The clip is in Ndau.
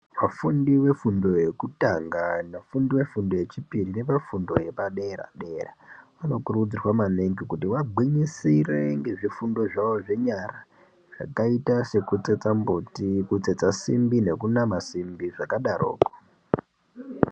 Vafundi vefundo yekutanga vafundi vefundo yechipiri nevafundi vefundo yepadera-dera. Vanokurudzirwa maningi kuti vagwinyisirwe ngezvirundo zvavo zvenyara zvakaita sekutsetsa mbuti kutsetsa simbi nekunama simbi zvakadaroko.